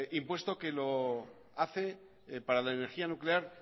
impuesto que lo hace para la energía nuclear